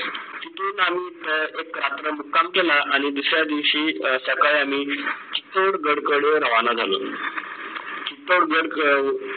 एक रात्रं मुक्काम केला आणि दुसऱ्या दिवशी अं सकाळी आम्ही थेट घराकडे रवाना झालो